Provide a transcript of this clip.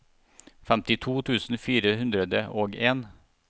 femtito tusen fire hundre og en